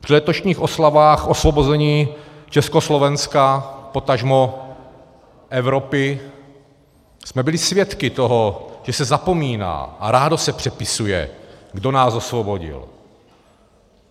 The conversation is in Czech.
Při letošních oslavách osvobození Československa, potažmo Evropy, jsme byli svědky toho, že se zapomíná a rádo se přepisuje, kdo nás osvobodil.